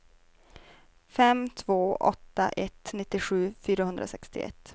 fem två åtta ett nittiosju fyrahundrasextioett